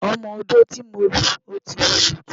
Ọmọ-odó tí mo lò ti wúwo jù.